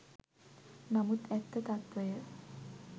නමුත් ඇත්ත තත්ත්වය